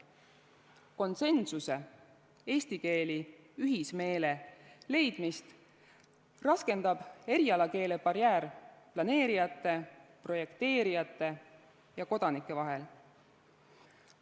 Konsensuse, eesti keeli ühismeele leidmist raskendab erialakeele barjäär planeerijate, projekteerijate ja kodanike vahel.